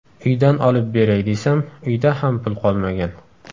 Uydan olib beray desam, uyda ham pul qolmagan”.